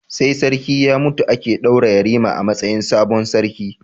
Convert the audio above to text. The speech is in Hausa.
Sai sarki ya mutu ake daura yarima a matsayin sabon sarki